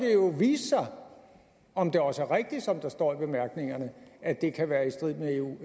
jo vise sig om om det også er rigtigt som der står i bemærkningerne at det kan være i strid med eu